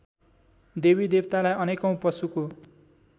देवीदेवतालाई अनेकौँ पशुको